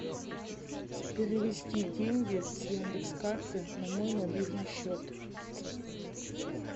перевести деньги с яндекс карты на мой мобильный счет